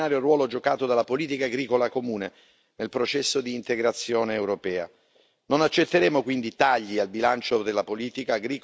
Tra queste priorità, Commissario, non possiamo scordarci lo straordinario ruolo giocato dalla politica agricola comune nel processo di integrazione europea.